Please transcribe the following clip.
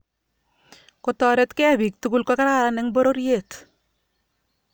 kotoretkei bik tugul ko kararan eng pororiet